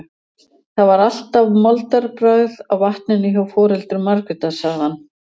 Það var alltaf moldarbragð af vatninu hjá foreldrum Margrétar, sagði hann.